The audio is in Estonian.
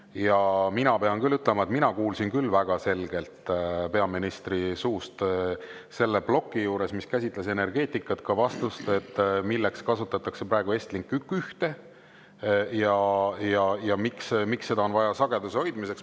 Ja mina pean küll ütlema, et mina kuulsin küll väga selgelt peaministri suust selle ploki juures, mis käsitles energeetikat, ka vastust, milleks kasutatakse praegu Estlink 1 ja miks seda on vaja sageduse hoidmiseks.